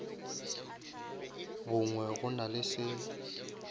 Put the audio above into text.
bongwe go na le se